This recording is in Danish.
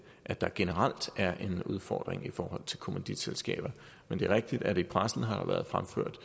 at der generelt er en udfordring i forhold til kommanditselskaber men det er rigtigt at der i pressen har været fremført